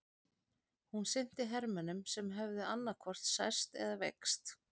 Hún sinnti hermönnum sem höfðu annaðhvort særst eða veikst.